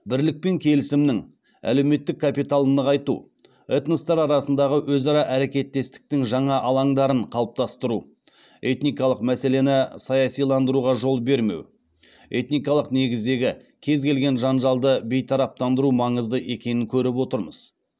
бірлік пен келісімнің әлеуметтік капиталын нығайту этностар арасындағы өзара әрекеттестіктің жаңа алаңдарын қалыптастыру этникалық мәселені саясиландыруға жол бермеу этникалық негіздегі кез келген жанжалды бейтараптандыру маңызды екенін көріп отырмыз